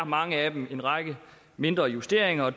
mange af dem er en række mindre justeringer og